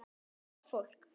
Þau eru gott fólk.